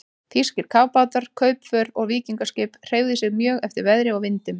Þýskir kafbátar, kaupför og víkingaskip hreyfðu sig mjög eftir veðri og vindum.